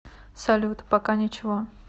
салют пока ничего